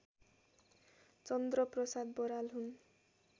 चन्द्रप्रसाद बराल हुन्